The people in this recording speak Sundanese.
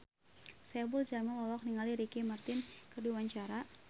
Saipul Jamil olohok ningali Ricky Martin keur diwawancara